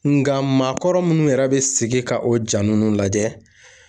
Nga maakɔrɔ munnu yɛrɛ be sigi ka o ja nunnu lajɛ